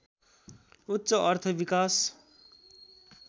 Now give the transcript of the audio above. उच्च अर्थ विकास